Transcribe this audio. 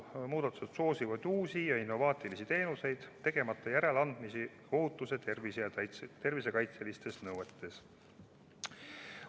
Muudatused soosivad uusi ja innovaatilisi teenuseid, tegemata järeleandmisi ohutus- ja tervisekaitsenõuetes.